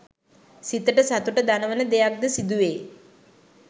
සිතට සතුට දනවන දෙයක් ද සිදුවේ